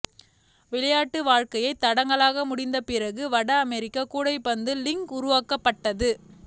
விளையாட்டு வாழ்க்கையை தடகள முடிந்த பிறகு வட அமெரிக்க கூடைப்பந்து லீக் உருவாக்கப்பட்டது